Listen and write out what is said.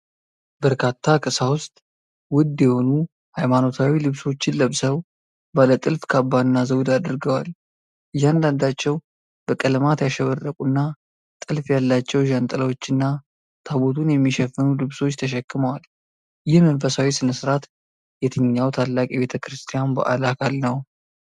በርካታ ቀሳውስት ውድ የሆኑ ሃይማኖታዊ ልብሶችን ለብሰው፣ ባለ ጥልፍ ካባና ዘውድ አድርገዋል። እያንዳንዳቸው በቀለማት ያሸበረቁና ጥልፍ ያላቸው ዣንጥላዎችና ታቦቱን የሚሸፍኑ ልብሶች ተሸክመዋል። ይህ መንፈሳዊ ሥነ-ሥርዓት የትኛው ታላቅ የቤተ ክርስቲያን በዓል አካል ነው?